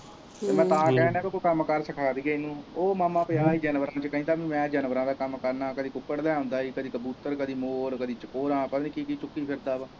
ਮੈਂ ਤਾਂ ਕਹਿਣ ਦਿਆ ਹੀ ਕੋਈ ਕੰਮ ਕਾਰ ਸਿਖਾ ਦਈਏ ਇਹ ਕਹਿੰਦਾ ਮੈਂ ਜਾਨਵਰਾਂ ਦਾ ਕੰਮ ਕਰਨਾ ਹੈ ਕਦੀ ਕੁਕੜ ਲੈ ਆਉਂਦਾ ਕਦੀ ਕਬੂਤਰ ਕਦੀ ਮੋਰ ਕਦੀ ਪਤਾ ਨਹੀਂ ਕੀ ਕੀ ਚੁੱਕੀ ਫਿਰਦਾ ਇਹ।